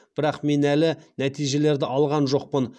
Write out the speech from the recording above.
бірақ мен әлі нәтижелерді алған жоқпын